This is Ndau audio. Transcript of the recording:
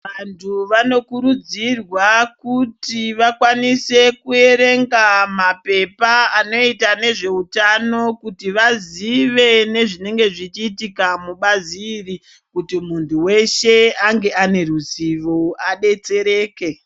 Vantu vanokurudzirwa kuti vakwanise kuyerenga mapepa anoita nezveutano kuti vazive nezvinenge zvichiitika mubazi iri kuti muntu weshe ange ane ruzivo abetsereke.